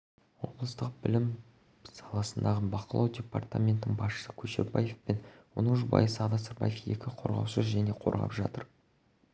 облыстық білім саласындағы бақылау департаментінің басшысы көшербаев пен оның жұбайы сағадат сырбаеваны екі қорғаушы қорғап жатыр